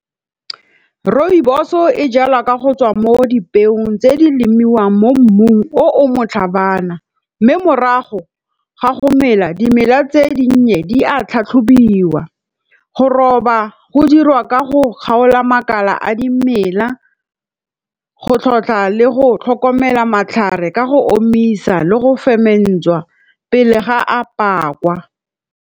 Rooibos-o e jalwa ka go tswa mo dipeong tse di lemiwang mo mmung o o motlhabana. Mme morago ga go mela, dimela tse dinnye di a tlhatlhobiwa. Go roba go dirwa ka go kgaola makala a dimela, go tlhotlha le go tlhokomela matlhare ka go omisa le go ferment-wa pele ga a pakwa.